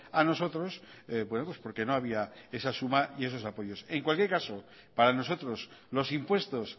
a nosotros porque no había esa suma y esos apoyos en cualquier caso para nosotros los impuestos